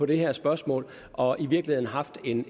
det her spørgsmål og i virkeligheden har haft en